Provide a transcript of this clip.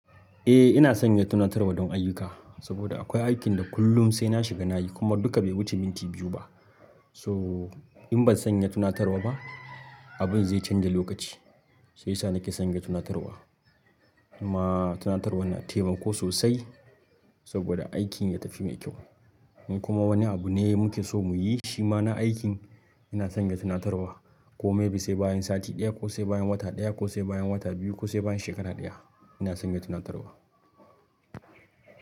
Eh ina sanya tunatarwa don ayyuka, saboda akwai aikin da kullum sai na shiga nayi kuma duka bai wuce minti biyu ba. So in ban sanya tunatarwa ba, abun zai canja lokaci shiyasa nake sanya tunatarwa. Kuma tunatarwa na taimako sosai saboda aikin ya tafi mai kyau in kuma wani abu ne muke so muyi shi ma na aikin ina sanya tunatarwa ko may be sai bayan sati ɗaya ko sai bayan wata ɗaya ko sai bayan wata biyu ko sai bayan shekara ɗaya ina sanya tunatarwa.